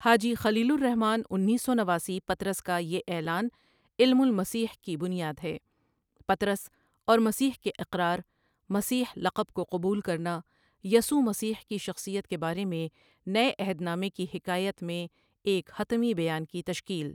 حاجی خلیل الرحمٰن انیس سو نواسی پطرس کا یہ اعلان علم المسیح کی بنیاد ہے، پطرس اور مسیح کے اقرار، مسیح لقب کو قبول کرنا، یسوع مسیح کی شخصیت کے بارے میں نئے عہد نامے کی حکایت میں ایک حتمی بیان کی تشکیل ۔